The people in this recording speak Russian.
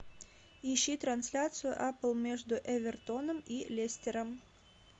ищи трансляцию апл между эвертоном и лестером